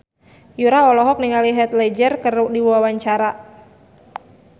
Yura olohok ningali Heath Ledger keur diwawancara